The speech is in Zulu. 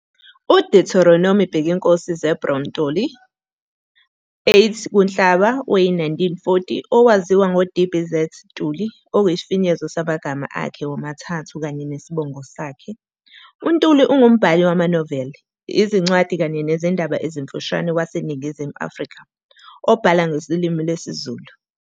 UDeuteronomy Bhekinkosi Zeblon Ntuli, 08 kuNhlaba we-1940, owaziwa ngoD.B. Z. Ntuli okuyisifinyezo samagama akhe womathathu kanye nesibongo sakhe. UNtuli ungumbhali wamanoveli, izincwadi kanye nezindaba ezimfushane waseNingizimu Afrika, obhala ngolimi lwesiZulu.